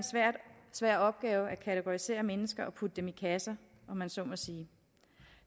svær opgave at kategorisere mennesker og putte dem i kasser om man så må sige